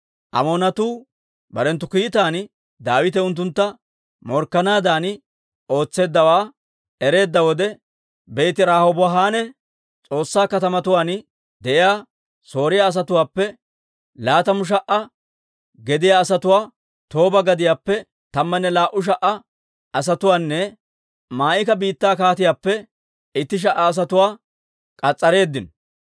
Amoonatuu barenttu kiitan Daawite unttuntta morkkanaadan ootseeddawaa ereedda wode, Beeti-Rahoobanne S'ooba katamatuwaan de'iyaa Sooriyaa asatuwaappe laatamu sha"a gediyaa asatuwaa, Tooba gadiyaappe tammanne laa"u sha"a asatuwaanne Maa'ika biittaa kaatiyaappe itti sha"a asatuwaa k'as'areeddino.